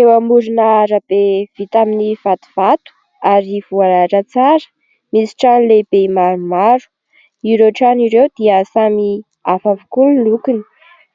Eo amorin'arabe vita amin'ny vatovato, ary voalahatra tsara, misy trano lehibe maromaro, ireo trano ireo dia samy hafa avokoa ny lokony,